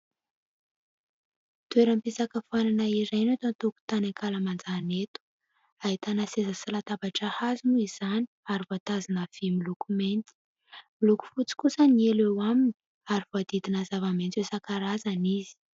Toeram-pisakafoanana iray no eto an-tokotany ankalamanjana eto. Ahitana seza sy latabatra hazo moa izany ary voatazona vỳ miloko mena. Miloko fotsy kosa ny elo aminy ary voahodidina zava-maitso isan-karazany izy.